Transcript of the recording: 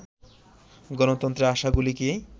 গণতন্ত্রের আশাগুলো কি